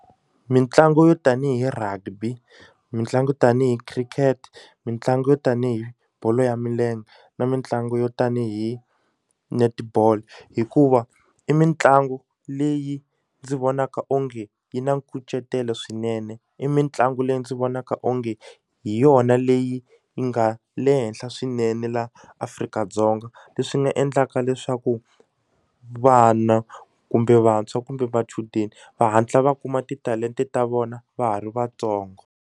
Mitlangu yo tanihi rugby mitlangu tanihi cricket mitlangu yo tanihi bolo ya milenge na mitlangu yo tanihi netball hikuva i mitlangu leyi ndzi vonaka onge yi na nkucetelo swinene i mitlangu leyi ndzi vonaka onge hi yona leyi yi nga le henhla swinene laha Afrika-Dzonga leswi nga endlaka leswaku vana kumbe vantshwa kumbe vachudeni va hatla va kuma titalente ta vona va ha ri vatsongo.